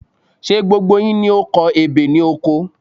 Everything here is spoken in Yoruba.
Ṣé gbogbo yín ni o kọ ebè ni oko?